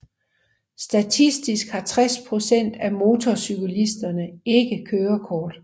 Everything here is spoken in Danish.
Statistisk har 60 procent af motorcyklisterne ikke kørekort